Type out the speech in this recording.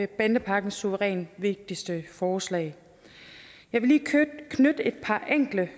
bandepakkens suverænt vigtigste forslag jeg vil lige knytte et par enkelte